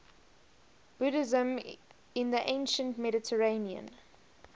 buddhism in the ancient mediterranean